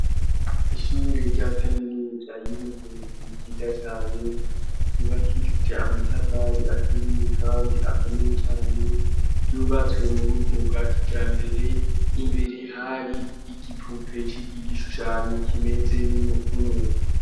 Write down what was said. Ishure rya kaminuza y'ubuvuzi ryiza cane ryubakishije amatavali aturiye kandi akomeye cyane by'ubatswe mu buryo bwa kija mbere imbere hari ppigishushanyo kimeze 'kumuntu.